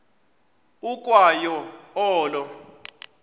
ukwa yo olo